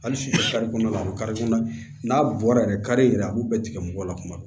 Hali sini kɔnɔna la a bɛ kari kɔnɔna n'a bɔra yɛrɛ kari yɛrɛ a b'u bɛɛ tigɛ mɔgɔ la kuma bɛɛ